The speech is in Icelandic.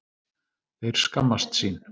Þeir skammast sín